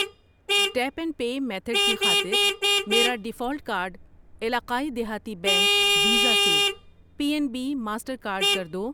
Tape and pay method کی خاطر میرا ڈیفالٹ کارڈ علاقائی دہاتی بینک ، ویزا سے پی این بی ، ماسٹر کارڈ کر دو۔